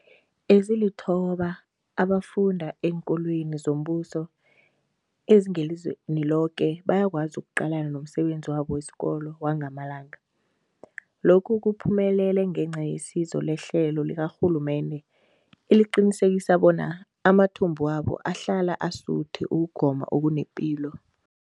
Ezilithoba abafunda eenkolweni zombuso ezingelizweni loke bayakwazi ukuqalana nomsebenzi wabo wesikolo wangamalanga. Lokhu kuphumelele ngenca yesizo lehlelo likarhulumende eliqinisekisa bona amathumbu wabo ahlala asuthi ukugoma okunepilo.